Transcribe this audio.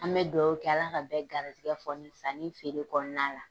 An mɛ duwɔwu kɛ Ala ka bɛ garizigɛ foni sanni feere kɔnɔna la.